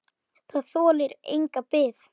Það þolir enga bið!